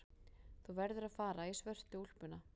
Þú verður að fara í svörtu úlpuna.